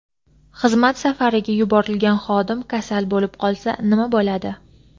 Xizmat safariga yuborilgan xodim kasal bo‘lib qolsa nima bo‘ladi?.